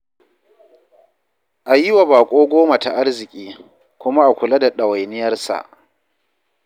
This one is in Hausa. A yi wa baƙo goma ta arziƙi, kuma a kula da ɗawainiyarsa.